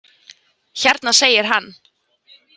Hérna, segir hann.